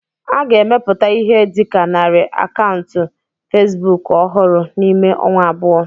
A ga-emepụta Ihe dị ka narị akaụntụ facebook ọhụrụ n'ime ọnwa abụọ